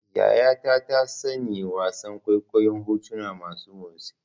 Yayata ta tsani wasan kwaikwayon hotuna masu motsi.